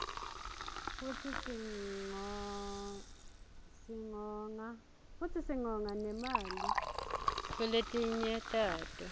futsi singonga nemali kuletinye tato